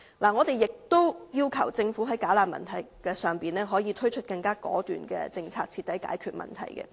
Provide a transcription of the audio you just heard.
我們亦要求政府在"假難民"的問題上推出更果斷的政策，徹底解決問題。